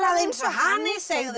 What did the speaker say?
eins og hani segðu